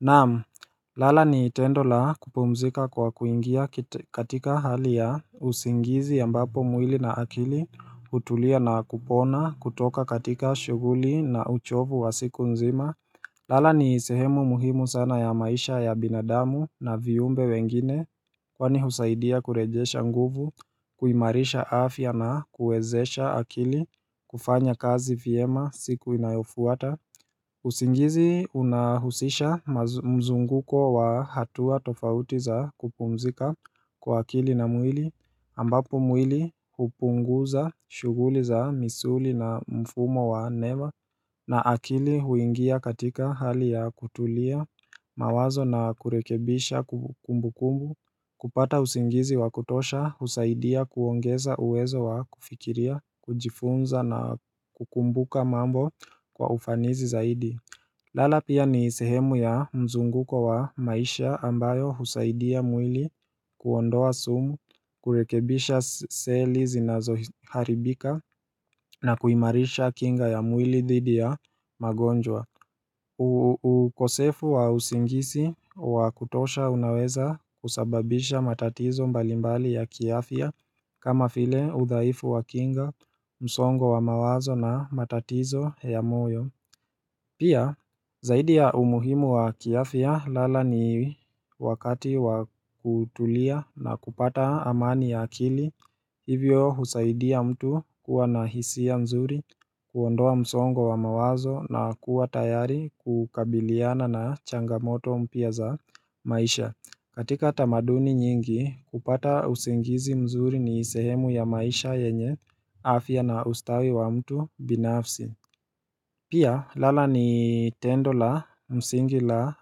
Naam, lala ni tendo la kupumzika kwa kuingia katika hali ya usingizi ambapo mwili na akili hutulia na kupona kutoka katika shuguli na uchovu wa siku nzima lala ni sehemu muhimu sana ya maisha ya binadamu na viumbe wengine kwani husaidia kurejesha nguvu, kuimarisha afya na kuwezesha akili kufanya kazi vyema siku inayofuata mzunguko wa hatua tofauti za kupumzika kwa akili na mwili, ambapo mwili hupunguza shuguli za misuli na mfumo wa neba. Na akili huingia katika hali ya kutulia mawazo na kurekebisha kumbu kumbu, kupata usingizi wa kutosha, usaidia kuongeza uwezo wa kufikiria, kujifunza na kukumbuka mambo kwa ufanizi zaidi. Lala pia ni sehemu ya mzunguko wa maisha ambayo husaidia mwili kuondoa sumu, kurekebisha seli zinazoharibika na kuimarisha kinga ya mwili dhidi ya magonjwa ukosefu wa usingisi wa kutosha unaweza kusababisha matatizo mbalimbali ya kiafya kama vile udhaifu wa kinga, msongo wa mawazo na matatizo ya moyo Pia, zaidi ya umuhimu wa kiafya lala ni wakati wa kutulia na kupata amani ya akili Hivyo husaidia mtu kuwa na hisia nzuri, huondoa msongo wa mawazo na kuwa tayari kukabiliana na changamoto mpya za maisha katika tamaduni nyingi, kupata usingizi mzuri ni sehemu ya maisha yenye afya na ustawi wa mtu binafsi Pia, lala ni tendo la msingi la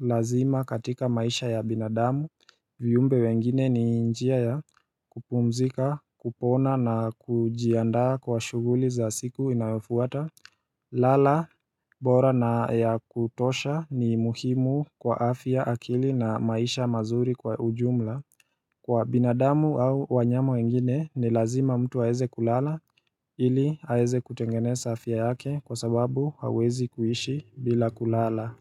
lazima katika maisha ya binadamu viumbe wengine ni njia ya kupumzika, kupona na kujiandaa kwa shuguli za siku inayofuata lala, bora na kutosha ni muhimu kwa afya akili na maisha mazuri kwa ujumla Kwa binadamu au wanyama wengine ni lazima mtu haeze kulala ili haeze kutengene sa afya yake kwa sababu hauwezi kuishi bila kulala.